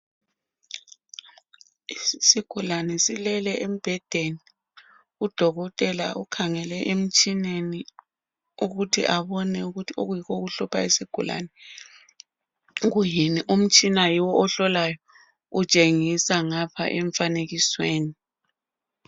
Isigulane silele embhedeni. Udokotela ukhangele emtshineni, ukuthi abone ukuthi okuyikho okuhlupha isigulane kuyini? Umtshina yiwo ohlolayo. Utshengisa ngapha emfanekisweni..